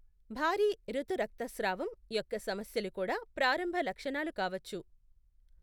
భారీ ఋతు రక్తస్రావం యొక్క సమస్యలు కూడా ప్రారంభ లక్షణాలు కావచ్చు.